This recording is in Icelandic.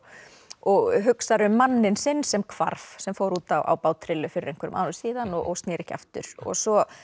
og hugsar um manninn sinn sem hvarf sem fór út á bát trillu fyrir einhverjum árum síðan og snéri ekki aftur svo